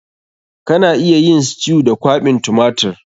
Kana iya yin stew da kwaɓin tumatir.